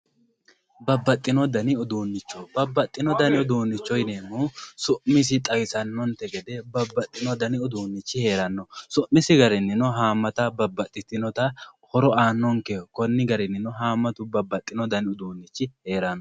Babaxino dani uduunicho babaxino danni uduunicho yineemohu su'misiyi xawisanonte gede babaxino dani uduunichi heeranno su'misi garininno haamatta babaxitinotta horo aanonkeho koni garinninno haamatu babaxino dani uduunichi heeranno